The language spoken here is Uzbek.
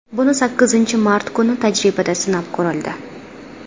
Buni sakkizinchi mart kuni tajribada sinab ko‘rildi.